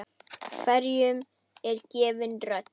Hverjum er gefin rödd?